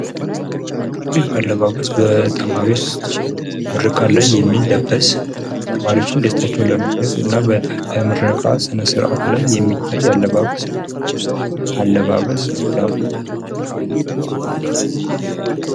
ይህ አለባበስ በተማሪዎች የሚለበስ ተማሪዎች ደስታቸዉን ለመግለፅ በምርቃት ጊዜ የሚለበስ አለባበስ ነው ::